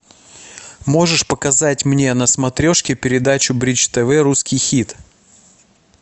можешь показать мне на смотрешке передачу бридж тв русский хит